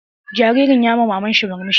Jaririn yayi ma maman sa murmushi.